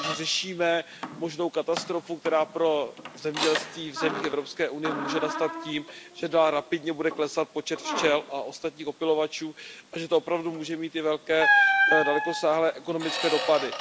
Řešíme možnou katastrofu, která pro zemědělství v zemích Evropské unie může nastat tím, že dál rapidně bude klesat počet včel a ostatních opylovačů a že to opravdu může mít velké i dalekosáhlé ekonomické dopady.